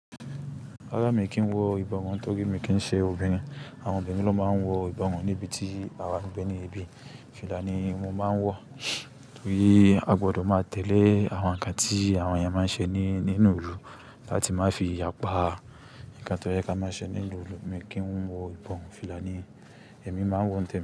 Rárá mi kì í wọ ìbọ̀wọ̀ mọ́, torí mi kì í ṣe obìnrin. Àwọn obìnrin ló máa ń wọ ìbọ̀wọ̀ níbi tí àwa n bé ní ibi. Fìlà ni mo máa ń wọ, torí a gbọdọ̀ máa tẹ̀lé àwọn nǹkan tí àwọn èèyàn máa ń ṣe ní nínú ìlú láti má fi yàpá nǹkan tó jẹ́ kí a máa ṣe nínú ìlú. Mi kì í wọ ìbọ̀wọ̀, fìlà ni èmi máa ń wọ nítèmi.